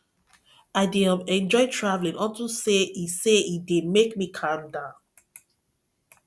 i dey um enjoy traveling unto say e say e dey make me calm down